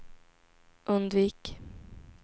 undvik